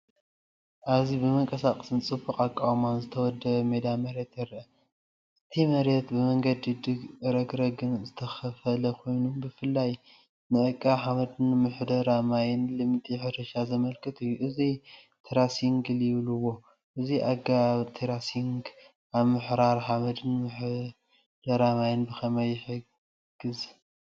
ኣብዚ ብመንቀሳቐስን ጽቡቕ ኣቃውማን ዝተወደበ ሜዳ መሬት ይርአ። እቲ መሬት ብመንገድን ረግረግን ዝተኸፋፈለ ኮይኑ ብፍላይ ንዕቀባ ሓመድን ምሕደራ ማይን ልምዲ ሕርሻ ዘመልክት እዩ። እዚ "ቴራሲንግ" ይብሉዎ። እዚ ኣገባብ ቴራሲንግ ኣብ ምሕራር ሓመድን ምሕደራ ማይን ብኸመይ ይሕግዝ?